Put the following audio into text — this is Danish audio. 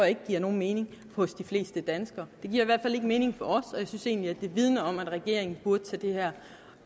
ikke giver nogen mening for de fleste danskere det giver i ikke mening for os og jeg synes egentlig at det vidner om at regeringen burde tage det her